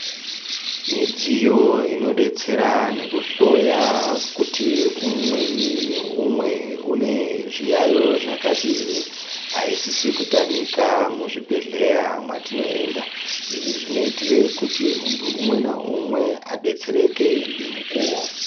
Midziyo inodetsera nekuhloya kuti umweni meumwe unezviyayo zvakadini aisisi kutamika muzvibhedhleya mwatinoenda ,izvi zvinoitira kuti muntu umwe neumwe adetsereke nemukuwo.